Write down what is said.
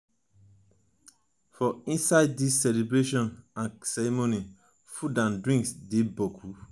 for inside these celebrations and ceremonies food and drings dey boku